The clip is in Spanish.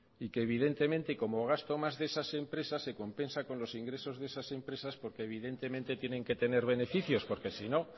y que evidentemente como gasto más de esas empresas se compensa con los ingresos de esas empresas porque evidentemente tienen que tener beneficios porque sino